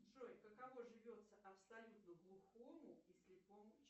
джой каково живется абсолютно глухому и слепому